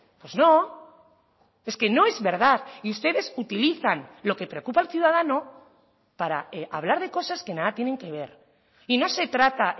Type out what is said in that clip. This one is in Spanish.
pues no es que no es verdad y ustedes utilizan lo que preocupa al ciudadano para hablar de cosas que nada tienen que ver y no se trata